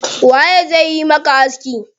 Waye zai yi maka aski?